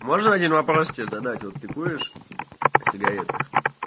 можно один вопрос тебе задать вот ты куришь сигареты